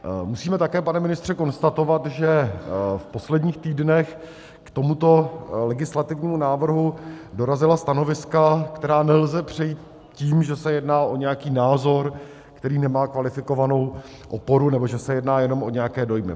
Musíme také, pane ministře, konstatovat, že v posledních týdnech k tomuto legislativnímu návrhu dorazila stanoviska, která nelze přejít tím, že se jedná o nějaký názor, který nemá kvalifikovanou oporu, nebo že se jedná jenom o nějaké dojmy.